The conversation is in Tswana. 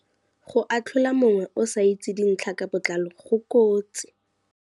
Go atlhola mongwe o sa itse dintlha ka botlalo go kotsi.